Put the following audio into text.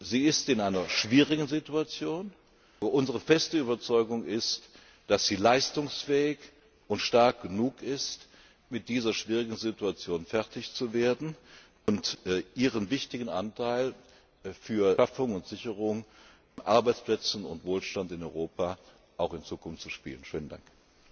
Abgrund. Sie ist in einer schwierigen Situation, aber unsere feste Überzeugung ist, dass sie leistungsfähig und stark genug ist, um mit dieser schwierigen Situation fertig zu werden und einen wichtigen Beitrag zur Schaffung und Sicherung von Arbeitsplätzen und Wohlstand in Europa auch in Zukunft zu leisten.